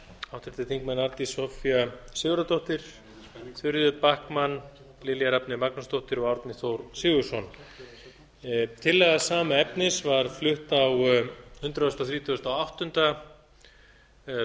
háttvirtir þingmenn arndís soffía sigurðardóttir þuríður backman lilja rafney magnúsdóttir og árni þór sigurðsson tillaga sama efnis var flutt á hundrað þrítugasta og áttunda